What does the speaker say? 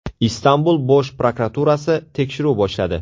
Istanbul bosh prokuraturasi tekshiruv boshladi.